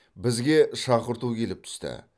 бізге шақырту келіп түсті